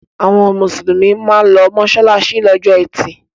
Àwọn Mùsùlùmí máa ń lọ mọ́ṣáláṣí lọ́jọ́ ẹtì